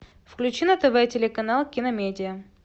включи на тв телеканал киномедия